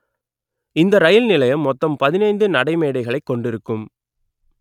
இந்த ரயில் நிலையம் மொத்தம் பதினைந்து நடைமேடைகளை கொண்டிருக்கும்